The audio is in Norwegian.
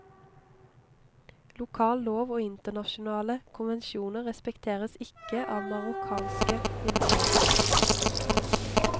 Lokal lov og internasjonale konvensjoner respekteres ikke av marokkanske myndigheter.